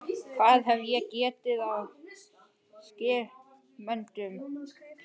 Hvað hef ég gert af skiptimiðanum?